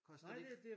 Koster det ikke?